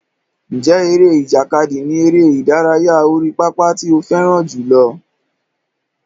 Ǹjẹ́ eré ìjàkadì ni eré ìdárayá orí pápá tí ó fẹ́ràn jùlọ?